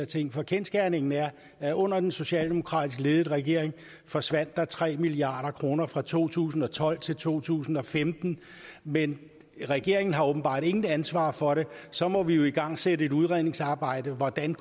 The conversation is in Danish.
ting for kendsgerningen er at under den socialdemokratisk ledede regering forsvandt der tre milliard kroner fra to tusind og tolv til to tusind og femten men regeringen har åbenbart intet ansvar for det så må vi jo igangsætte et udredningsarbejde om hvordan